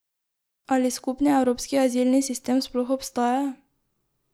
Ali skupni evropski azilni sistem sploh obstaja?